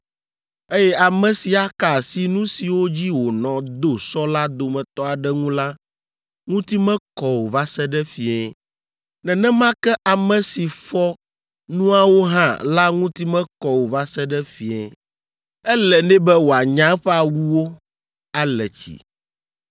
eye ame si aka asi nu siwo dzi wònɔ do sɔ la dometɔ aɖe ŋu la ŋuti mekɔ o va se ɖe fiẽ. Nenema ke ame si fɔ nuawo hã la ŋuti mekɔ o va se ɖe fie; ele nɛ be wòanya eƒe awuwo, ale tsi.